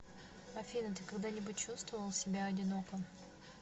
афина ты когда нибудь чувствовал себя одиноко